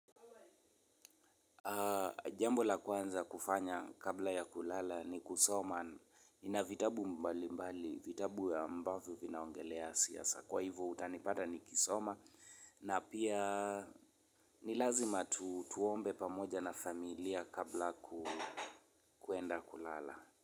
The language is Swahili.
Jambo la kwanza kufanya kabla ya kulala ni kusoma nina vitabu mbali mbali vitabu ambavyo vinaongelea siasa kwa hivyo utanipata nikisoma na pia nilazima tuombe pamoja na familia kabla kuenda kulala.